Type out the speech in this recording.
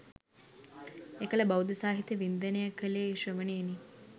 එකල බෞද්ධ සාහිත්‍ය වින්දනය කළේ ශ්‍රවණයෙනි.